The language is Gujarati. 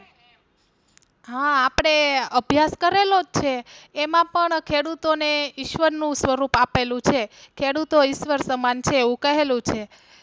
હા આપડે અભ્યાસ કરેલો છે એમાં પણ ખેડૂતો ને ઈશ્વર નું સ્વરૂપ આપેલું છે ખેડૂતો ઈશ્વર સમાન છે એવું કહેલું છે.